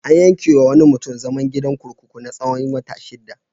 An yanke wa wani mutum zaman gidan kurkuku na tsawon wata shida.